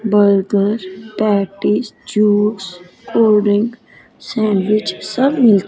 burger patties juice cold drink sandwich सब मिलत--